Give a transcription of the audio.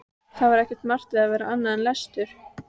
Það var ekki margt við að vera annað en lestur.